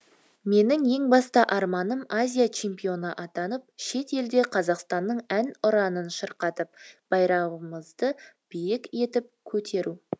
менің ең басты арманым азия чемпионы атанып шет елде қазақстанның ән ұранын шырқатып байрағымызды биік етіп көтеру